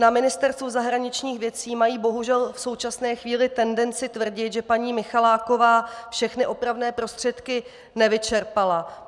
Na Ministerstvu zahraničních věcí mají bohužel v současné chvíli tendenci tvrdit, že paní Michaláková všechny opravné prostředky nevyčerpala.